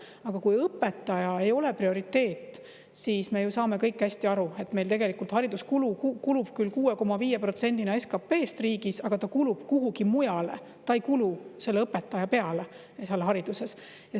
Aga kui õpetaja ei ole prioriteet, siis, me ju saame kõik hästi aru, meil tegelikult haridusele kulub küll 6,5% SKP-st riigis, aga ta kulub kuhugi mujale, ta ei kulu õpetajate palkadele.